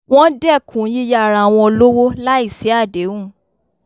wọ́n dẹ́kun yíyá ara wọn lówó láì sí àdéhùn